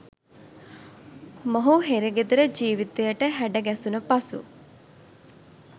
මොහු හිරගෙදර ජීවිතයට හැඩ ගැසුන පසු